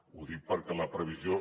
ho dic perquè la previsió